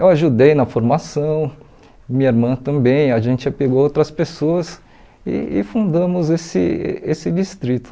Eu ajudei na formação, minha irmã também, a gente pegou outras pessoas e e fundamos esse esse distrito.